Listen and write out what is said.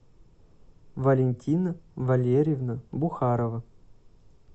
валентина валерьевна бухарова